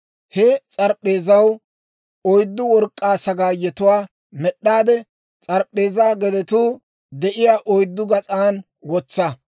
He s'arip'p'eezaw oyddu work'k'aa sagaayetuwaa med'd'aade, s'arip'p'eezaa gedetuu de'iyaa oyddu gas'an wotsa.